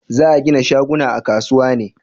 za a gina shaguna a kasuwa ne?